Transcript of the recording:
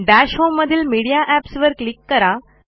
दश होम मधील media apps वर क्लिक करा